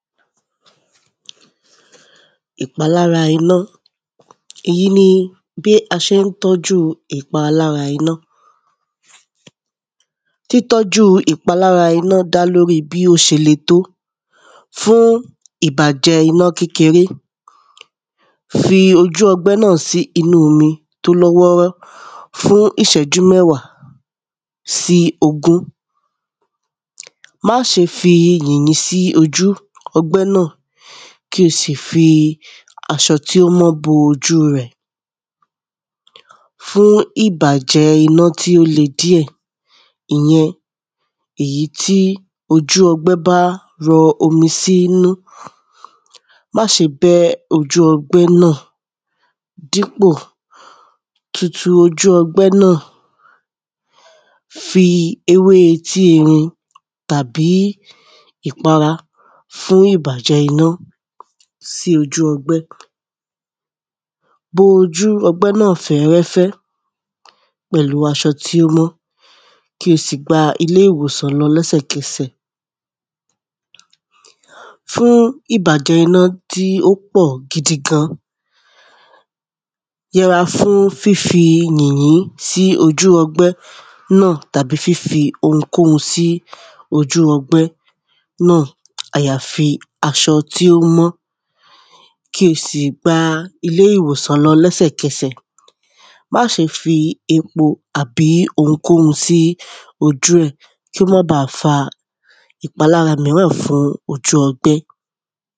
Ìpalára iná Èyí ni bi a ṣe ń tọ́jú ìpalára iná Títọ́jú ìpalára iná dá lórí bí ó ṣe le tó Fún ìbàjẹ́ iná kékeré fi ojú ọgbẹ́ náà sí inú omi tí ó lọ́ wọ́ọ́rọ́ fún ìṣẹ́jú mẹ́wà sí ogún Má ṣe fi yìnyín sí ojú ọgbẹ́ náà kí o sì fi aṣọ tí ó mọ bo ojú rẹ̀ Fún ìbàjẹ́ iná tí ó le díẹ̀ Ìyẹn ìyí tí ójù ọgbẹ́ bá rọ omi sí inú Má ṣe bẹ́ ojú ọgbẹ́ náà dípò tutù ojú ọgbẹ́ náà Fi ewé etíerin tàbí ìpara fún ìbàjẹ́ iná sí ojú ọgbẹ́ Bo ojú ọgbẹ́ náà fẹ́rẹ́fẹ́ pẹ̀lú aṣọ tí ó mọ́ kí o sì gba ilé ìwòsàn lọ lẹ́sẹ̀kẹsẹ̀ Fún ìbàjẹ́ iná tí ó pọ̀ gidigan Yẹra fún fí fi yìnyín sí ojú ọgbẹ́ náà tàbí fí fi ounkóun sí ojú ọgbẹ́ náà àyafi aṣọ tí ó mọ́ kí o sì gba ilé ìwòsàn lọ lẹ́sẹ̀kẹsẹ̀ Ma ṣe fi epo àbí ounkóun sí ojú ẹ̀ kí ó má ba à fa ìpalára míràn fún ojú ọgbẹ́